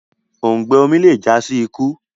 òùngbẹ omí le já sí ikú